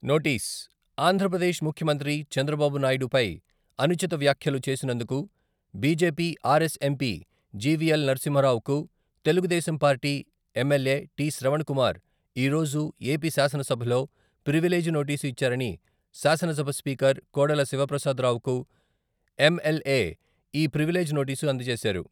Notice, Andhra Pradesh ముఖ్యమంత్రి చంద్రబాబునాయుడిపై అనుచిత వ్యాఖ్యలు చేసినందుకు బిజెపి ఆర్ఎస్ ఎంపి జివిఎల్ నరసింహారావుకు Telugu Desam party MLA T. Sravan Kumar ఈరోజు ఏపీ శాసనసభలో ప్రివిలేజ్ నోటీసు ఇచ్చారని శాసనసభ స్పీకర్ కోడెల శివప్రసాదరావుకు ఎంఎల్ఏ ఈ ప్రివిలేజ్ నోటీస్ అందచేశారు